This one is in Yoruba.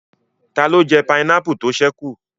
Taló jẹ pineapple tó ṣẹ́ kù?